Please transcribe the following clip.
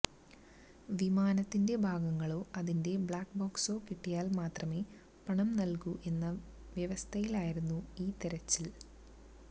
വിമാനത്തിന്റെ ഭാഗങ്ങളോ അതിന്റെ ബ്ലാക് ബോക്സോ കിട്ടിയാല് മാത്രമേ പണം നല്കൂ എന്ന വ്യവസ്ഥയിലായിരുന്നു ഈ തെരച്ചില്